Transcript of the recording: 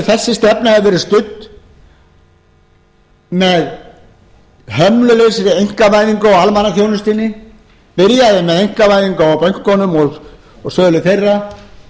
þessi stefna hefur verið studd með hömlulausri einkavæðingu á almannaþjónustunni byrjaði með einkavæðingu á bönkunum og sölu þeirra